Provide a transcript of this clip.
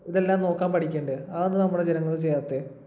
ഇതെല്ലാം നോക്കാൻ പഠിക്കണ്ടേ? അതെന്താ നമ്മടെ ജനങ്ങൾ ചെയ്യാത്തേ?